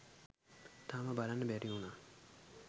තාම බලන්න බැරි වුනා